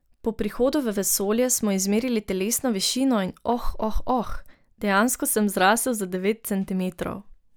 Po prihodu v vesolje smo izmerili telesno višino in oh, oh, oh, dejansko sem zrasel za devet centimetrov.